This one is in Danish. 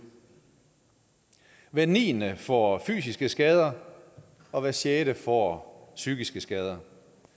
hver niende får fysiske skader og hver sjette får psykiske skader